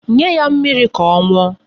Nye ya mmiri ka ọ ṅụọ.